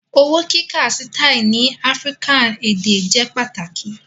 Owo kika systes ni African ede jẹ pataki